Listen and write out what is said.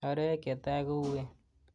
Arawek chetai kouwen.